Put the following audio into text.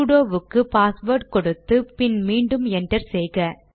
sudo வுக்கு password கொடுத்து பின் மீண்டும் என்டர் செய்க